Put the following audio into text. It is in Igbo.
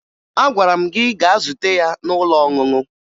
Agwara m gị gaa zute ya n'ụlọ ọṅụṅụ!